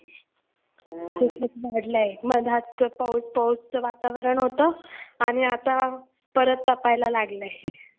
खूपच वाढलंय पावसाचं वातावरण होतं आणि आता परत तपायला लागलंय.